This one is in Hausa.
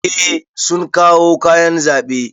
Eh sun kawo kayan zaɓe.